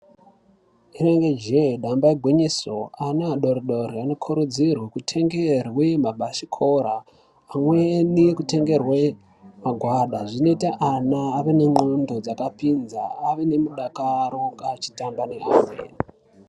Rinenge jee damba igwinyiso ana adori dori anokurudzirwa kutengerwa mabhasikoro pamweni nekutengerwa magwada. Zvinoita ana ave nengxondo dzakapinza. Ave nemudakaro pavanenge vechitamba nevamweni.